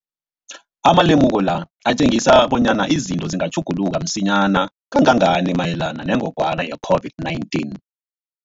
Amalemuko la atjengisa bonyana izinto zingatjhuguluka msinyana kangangani mayelana nengogwana i-COVID-19.